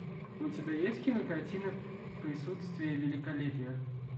у тебя есть кинокартина присутствие великолепия